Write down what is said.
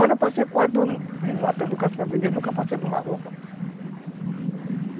Olha, eu passei matando caça para vender, nunca passei de uma roupa.